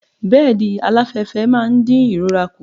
Bẹ́ẹ̀dì aláfẹ́fẹ́ máa ń di ìrora kù.